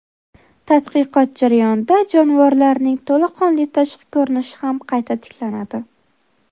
Tadqiqot jarayonida jonivorlarning to‘laqonli tashqi ko‘rinishi ham qayta tiklanadi.